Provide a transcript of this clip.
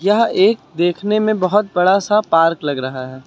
यह एक देखने में बहुत बड़ा सा पार्क लग रहा है।